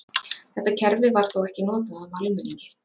Þetta kerfi var þó ekki notað af almenningi.